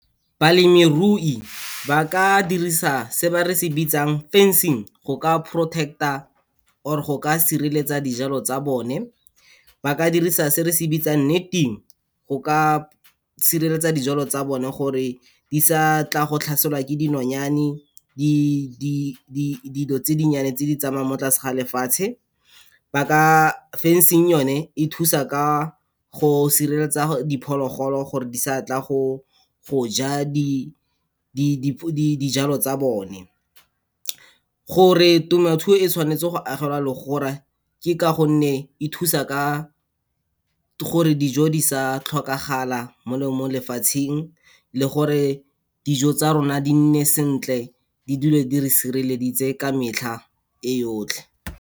Balemirui ba ka dirisa se ba re se bitsang fencing, go ka protect-a or-e go ka sireletsa dijalo tsa bone. Ba ka dirisa se re se bitsang netting go ka sireletsa dijalo tsa bone gore di sa tla go tlhaselwa ke dinonyane, dilo tse dinnyane tse di tsamayang mo tlase ga lefatshe, ba ka, Fencing yone, e thusa ka go sireletsa diphologolo gore di sa tla go ja dijalo tsa bone. Gore temothuo e tshwanetse go agelwa legora ke ka gonne e thusa ka gore dijo di sa tlhokagala mo lefatsheng le gore dijo tsa rona di nne sentle, di dule di re sireleditse ka metlha e yotlhe.